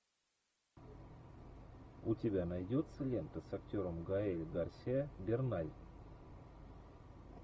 у тебя найдется лента с актером гаэль гарсиа берналь